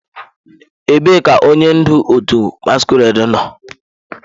Ebee ka onye ndu otu masquerade nọ?